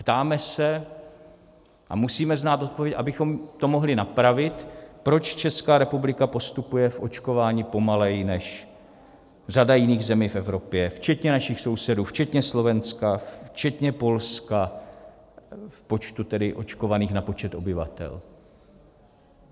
Ptáme se - a musíme znát odpověď, abychom to mohli napravit - proč Česká republika postupuje v očkování pomaleji než řada jiných zemí v Evropě, včetně našich sousedů, včetně Slovenska, včetně Polska, v počtu tedy očkovaných na počet obyvatel.